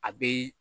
A bɛ